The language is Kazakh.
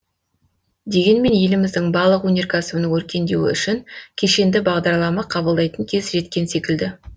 дегенмен еліміздің балық өнеркәсібінің өркендеуі үшін кешенді бағдарлама қабылдайтын кез жеткен секілді